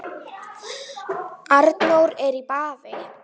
Arnór er í baði